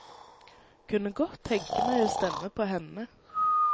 Kunne godt tenke meg å stemme på henne.